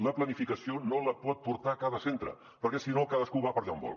la planificació no la pot portar cada centre perquè si no cadascú va per allà on vol